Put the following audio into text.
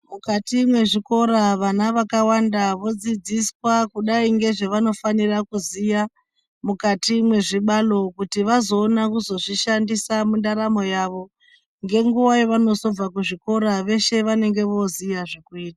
Mukati mwe zvikora vana vakawanda vo dzidziswa kudai ngezve vanofanira kuziya mukati mwe zvibalo kuti vazoona kuzo zvishandisa mu ndaramo yavo nge nguva yavano zobva kuzvikora veshe vanenge voziya zvekuita.